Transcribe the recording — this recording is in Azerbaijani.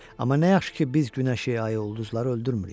Amma nə yaxşı ki, biz günəşi, ayı, ulduzları öldürmürük.